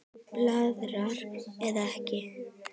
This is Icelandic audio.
Blaðra eða Ek?